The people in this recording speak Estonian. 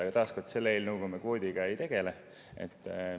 Aga taas kord: selles eelnõus me kvoodiga ei tegele.